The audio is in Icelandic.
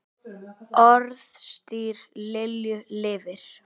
Orðstír Lilju lifir.